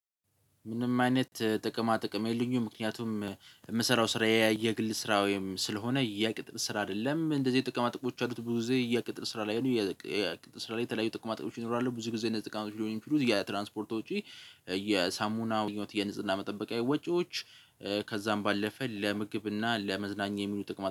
ምንም አይነት ጥቅማ ጥቅም የለኝም። ምክንያቱም የምሰራው ስራዬ የግል ስራ ወይም ስለሆነ የቅጥር ስራ አይደለም እንደዚህ ጥቅማ ጥቅሞች ያሉት ብዙ የቅጥር ስራ ላይ የቅጥር ስራ ላይ የተለያዩ ጥቅማ ጥቅሞች ይኖራሉ። ብዙ ጊዜ እነዚህ ጥቃም ሊሆን የትራንስፖርት ወጪ የሳሙና ህይወት የንጽህና መጠበቃዊ የወጪዎች ከዛም ባለፈ ለምግብና ለመዝናኛ የሚሉ ጥቅም